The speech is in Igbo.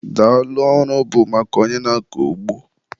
Daalụ ọrụ bụ maka onye na-akọ ugbo